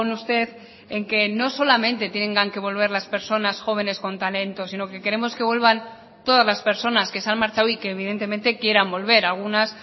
usted en que no solamente tengan que volver las personas jóvenes con talento sino que queremos que vuelvan todas las personas que se han marchado y que evidentemente quieran volver algunas